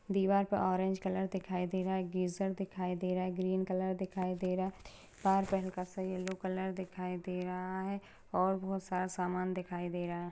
दिवार पे orange colour दिखाई दे गा एक गीजर दिखाई दे रहा है ग्रीन कलर दिखाई दे रा । येलो दिखाई दे रहा है और बोहोत सारा सामान दिखाई दे रहा।